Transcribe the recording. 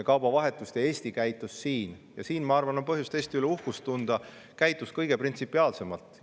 Kaubavahetuses – ja siin, ma arvan, on põhjust Eesti üle uhkust tunda – käitus Eesti kõige printsipiaalsemalt.